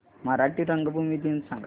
मराठी रंगभूमी दिन सांगा